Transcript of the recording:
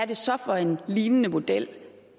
det så er for en lignende model